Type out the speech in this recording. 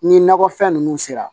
Ni nakɔfɛn ninnu sera